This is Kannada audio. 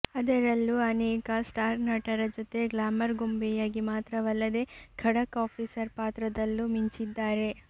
ಅದರಲ್ಲೂ ಅನೇಕ ಸ್ಟಾರ್ ನಟನರ ಜೊತೆ ಗ್ಲಾಮರ್ ಗೊಂಬೆಯಾಗಿ ಮಾತ್ರವಲ್ಲದೆ ಖಡಕ್ ಆಫೀಸರ್ ಪಾತ್ರದಲ್ಲೂ ಮಿಂಚಿದ್ದಾರೆ